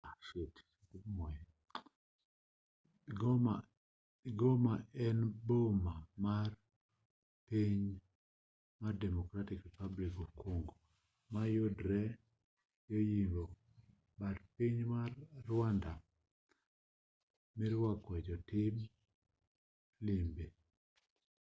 goma en boma mar piny mar democratic republic of congo ma yudore yo yimbo but piny mar rwanda mirwakoe jotim limbe